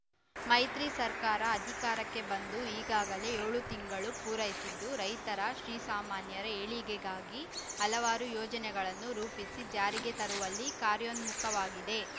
ಮೈತ್ರಿ ಸರ್ಕಾರ ಅಧಿಕಾರಕ್ಕೆ ಬಂದು ಈಗಾಗಲೇ ಏಳು ತಿಂಗಳು ಪೂರೈಸಿದ್ದು ರೈತರ ಶ್ರೀಸಾಮಾನ್ಯರ ಏಳಿಗೆಗಾಗಿ ಹಲವಾರು ಯೋಜನೆಗಳನ್ನು ರೂಪಿಸಿ ಜಾರಿಗೆ ತರುವಲ್ಲಿ ಕಾರ್ಯೋನ್ಮುಖವಾಗಿದೆ